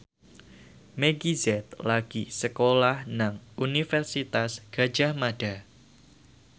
Meggie Z lagi sekolah nang Universitas Gadjah Mada